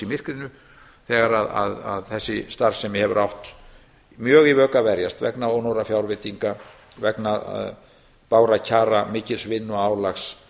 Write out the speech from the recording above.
myrkrinu þegar að þessi starfssemi hefur átt í mjög að vök að verjast vegna ónógra fjárveitinga vegna bágra kjara mikils vinnuálags